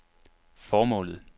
formålet